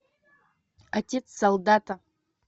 отец солдата